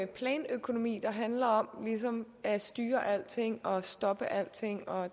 planøkonomi der ligesom handler om at styre alting og stoppe alting og